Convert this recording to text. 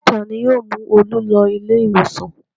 Ta ni yóò mú Olú lọ ilé-ìwòsàn?